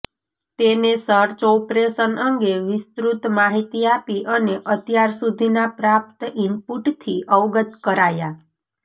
તેને search operation અંગ વિસ્તૃત માહિતી આપી અને અત્યાર સુધીના પ્રાપ્ત ઇનપુટથી અવગત કરાયા